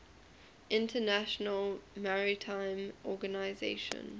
international maritime organization